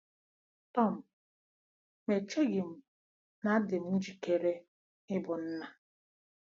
Tom: Ma echeghị m na adịm njikere ịbụ nna!